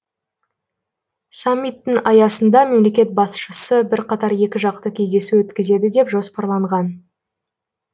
саммиттің аясында мемлекет басшысы бірқатар екіжақты кездесу өткізеді деп жоспарланған